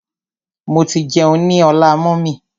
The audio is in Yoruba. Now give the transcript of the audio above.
Mo ti jẹun ní ọlá mummy.